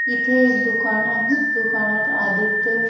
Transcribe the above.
इथे एक दुकान आहे दुकानात आदित्य--